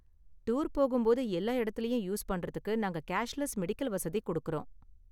Tour போகும்போது எல்லா இடத்திலயும் யூஸ் பண்றதுக்கு நாங்க கேஷ்லெஸ் மெடிக்கல் வசதி கொடுக்கறோம்.